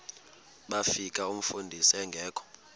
bafika umfundisi engekho